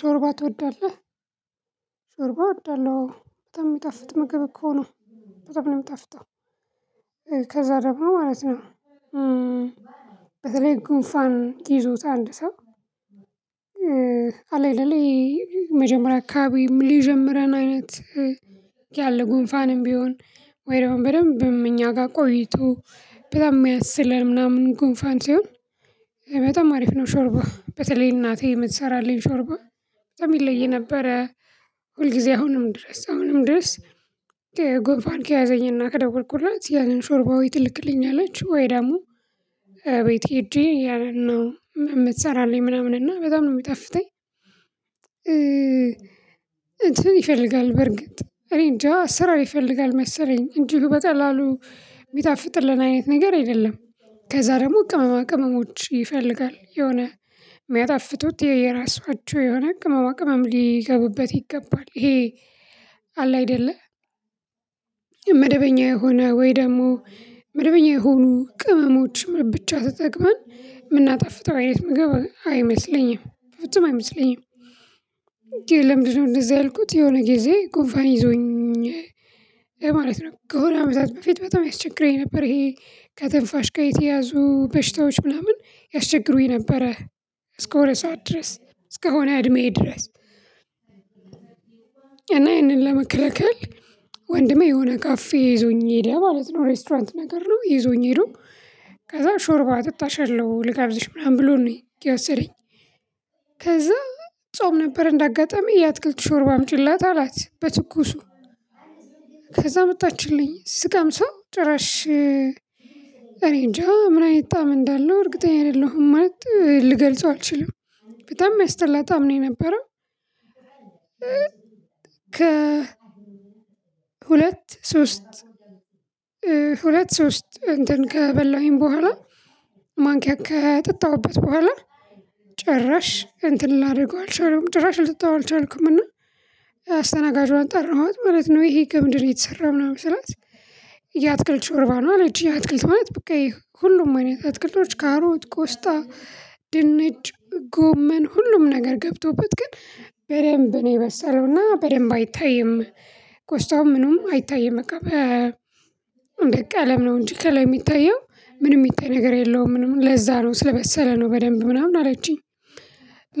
ሾርባ ትወዳለህ? ሾርባ እወዳለሁ አዎበጣም የሚጣፍጥ ምግብ እኮ ነው። በደንብ ነው የሚጣፍጠው ከዛ ደግሞ ማለት ነው። በተለይ ጉንፋን ይዞት አንድ ሰው። አለ አይደለ መጀመሪያ አካባቢ ሊጀምረን አይነት ያለ ጉንፋንም ቢሆን። ወይ ደግሞ በደንብም እኛ ጋር ቆይቶ በጣም የሚያስለን ምናምን ጉንፋን ሲሆን። በጣም አሪፍ ነው ሾርባ በተለይ እናቴ የምትሰራለኝ ሾርባ የሚለይ ነበረ። ሁልጊዜ አሁንም ድረስ አሁንም ድረስ ጎንፋን ከያዘኝና ከደወልኩላት ያንን ሾርባ ወይ ትልክልኛለች ወይ ደግሞ። ቤቴ ሄጄ ያንን ነው የምትሰራለኝ ምናምን እና በጣም ነው የሚጠፍተኝ። እንትን ይፈልጋል በርግጥ እኔ እንጃ ስራ ይፈልጋል መሰለኝ እንዲሁ በጠቀላሉ የሚጣፍጥልን አይነት ነገር አይደለም። ከዛ ደግሞ ቅመማ ቅመሞች ይፈልጋል የሆነ የሚያጣፍጡት የየራሳቸው የሆነ ቅመማ ቅመም ሊገቡበት ይገባል ይሄ። አለ አይደለ መደበኛ የሆነ ወይ ደግሞ መደበኛ የሆኑ ቅመሞች ብቻ ተጠቅመን የምናጣፍጠው አይነት ምግብ አይመስለኝም ፍጹም አይመስለኝም። ለምንድነው እንደዚህ ያልኩት የሆነ ጊዜ ጉንፋን ይዞኝ ማለት ነው ከሆነ አመታት በፊት በጣም ያስቸግረኝ ነበር ይሄ ከትንፋሽ ጋር የተያዙ በሽታዎች ምናምን ያስቸግሩኝ ነበረ። እስከሆነ ሰዓት ድረስ እስከ ሆነ እድሜዬ ድረስ። እና ያንን ለመከለከል ወንድሜ የሆነ ካፌ ይዞኝ ሄደኝ ማለት ነው። ሬስቶራንት ነገር ነው ይዞኝ ሄዶ ከዛ ሾርባ አጠጣሻለሁ ልጋብሽ ምናምን ብሎ ነው የወሰደኝ። ከዛ ጾም ነበር እንዳጋጣሚ የአትክልት ሾርባ አምጪላት አላት በትኩሱ። ከዛ አመጣችልኝ ስቀምሰው ጭራሽ እኔ እንጃ ምን አይነት ጣዕም እንዳለው እርግጠኛ አይደለሁም ማለት ልገልጸው አልችልም። በጣም የሚያስጠላ ጣዕም ነው ነበር። ከ ሁለት ሶስት ሁለት ሶስት እንትን ከበላሁኝ በኋላ ማንኪያ ከጠጣሁበት በኋላ ጭራሽ እንትን ላድርገው አልቻለሁም ጭራሽ ልትጣው አልቻልኩምና። አስተናጋጇን ጠራኋት ማለት ነው ይሄ ከምንድን ነው የተሰራው ምናምን ስላት። የአትክልት ሾርባ ነው አለችኝ የአትክልት ማለት በቃ ይሄ ሁሉም አይነት አትክልቶች ካሮት ቆስጣ ድንች ጎመን ሁሉም ነገር ገብቶበት ግን በደንብ ነው የበሰለው እና በደንብ አይታይም። ቆስጣውም ምኑም አይታይም እቃ በቃ እንደ ቀለም ነው እንጂ ከላይ የሚታየው ምንም የሚታይ ነገር የለውም ምንም ለዛ ነው ስለበሰለ ነው በደንብ ምናምን አላችሁም።